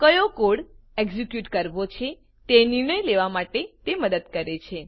કયો code execute કરવો છે તે નિર્ણય લેવા માટે તે મદદ કરે છે